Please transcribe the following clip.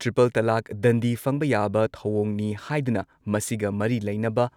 triple talaq, ꯗꯟꯗꯤ ꯐꯪꯕ ꯌꯥꯕ ꯊꯧꯑꯣꯡꯅꯤ ꯍꯥꯏꯗꯨꯅ ꯃꯁꯤꯒ ꯃꯔꯤ ꯂꯩꯅꯕ